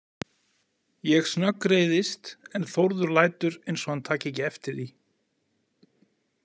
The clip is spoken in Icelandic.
Ég snöggreiðist en Þórður lætur eins og hann taki ekki eftir því.